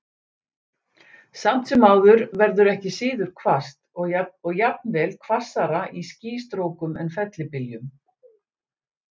Samt sem áður verður ekki síður hvasst, og jafnvel hvassara í skýstrókum en fellibyljum.